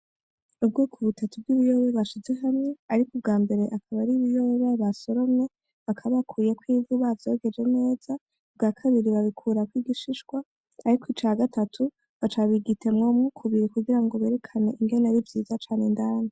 Ubwoko butatu bw'ibiyoba bashize hamwe ,ariko ubwambere akaba ari ibiyoba basoromye bakaba bakuyeko ivu canke bavyogeje neza, ubwakabiri babikurako igishishwa ,ariko ica gatatu baca bakigaburamwo kubiri kugira berekane ingene ari vyiza indani.